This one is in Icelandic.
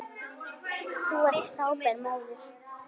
Þú varst frábær móðir.